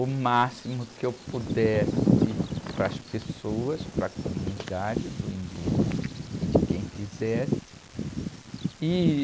o máximo que eu pudesse para as pessoas, para a comunidade do Embu e de quem quisesse.